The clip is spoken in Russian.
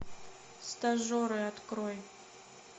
стажеры открой